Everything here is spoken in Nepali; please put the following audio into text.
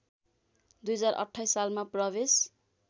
२०२८ सालमा प्रवेश